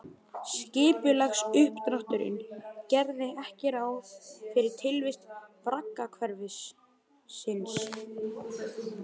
Skipulagsuppdrátturinn gerði ekki ráð fyrir tilvist braggahverfisins